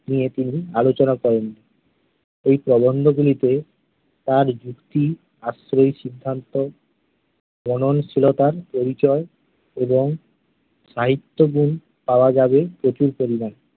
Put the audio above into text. নিয়ে তিনি আলোচনা করেননি। এই প্রবন্ধগুলিতে তাঁর ভিত্তি আশ্রয়ী সিদ্ধান্ত মননশীলতার পরিচয় এবং সাহিত্যগুণ পাওয়া যাবে প্রচুর পরিমাণে।